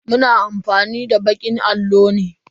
Mu na amfani da bakin allo ne.